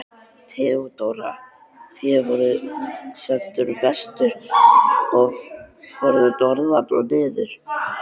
THEODÓRA: Þér voruð sendur vestur og fóruð norður og niður!